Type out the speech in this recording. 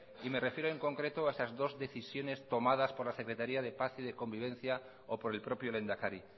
y me refiero en concreto a estas dos decisiones tomadas por la secretaría de paz y de convivencia o por el propio lehendakari